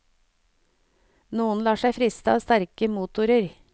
Noen lar seg friste av sterke motorer.